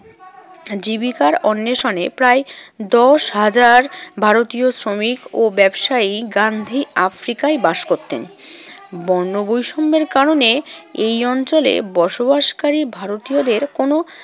জীবিকার অন্বেষণে প্রায় দশ হাজার ভারতীয় শ্রমিক ও ব্যবসায়ী গান্ধী আফ্রিকায় বাস করতেন। বর্ণবৈষম্যের কারণে এই অঞ্চলে বসবাসকারী ভারতীয়দের কোনো